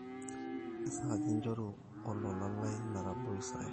kesaaja inchoruru olola lai metabau Israel